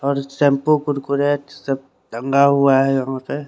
और सब कुरकुरे सब दंगा हुआ है यहाँ पे--